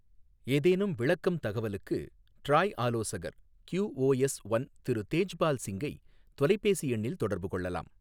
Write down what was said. ஏதேனும் விளக்கம் தகவலுக்கு, டிராய் ஆலோசகர் கியூஓஎஸ் ஒன் திரு தேஜ்பால் சிங்கை தொலைபேசி எண்ணில் தொடர்பு கொள்ளலாம்.